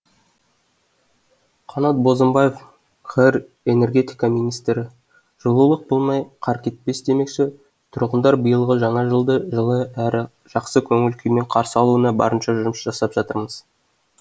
қанат бозымбаев қр энергетика министрі жылулық болмай қар кетпес демекші тұрғындар биылғы жаңа жылды жылы әрі жақсы көңіл күймен қарсы алуына барынша жұмыс жасап жатырмыз